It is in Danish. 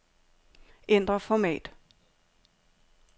Ændr format.